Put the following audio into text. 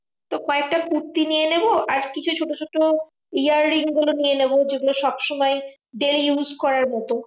তো কয়েকটা কুর্তি নিয়ে নেবো। আর কিছু ছোট ছোট earrings গুলো নিয়ে নেবো। যেগুলো সবসময় daily use করার মতো।